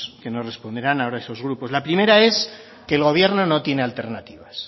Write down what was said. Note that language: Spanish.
que nos responderán ahora esos grupos la primera es que el gobierno no tiene alternativas